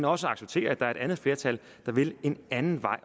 også acceptere at der er et andet flertal der vil en anden vej